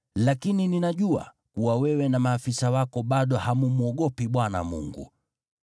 Lakini ninajua kuwa wewe na maafisa wako bado hammwogopi Bwana Mungu.”